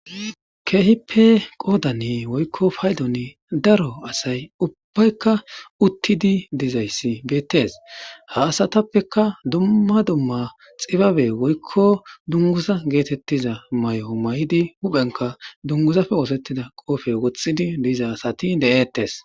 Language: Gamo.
kehippe qodane woyko paydoni daro asay ubayika utidi dizaysi betes ha asatapeka duma duma xibabe woykko dunguza getetiza may'o may'idi huphenka dunguzape osetida qofe wothiza asati de'etes.